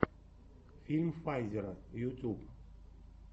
фильм файзера ютьюб